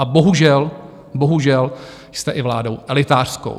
A bohužel, bohužel jste i vládou elitářskou.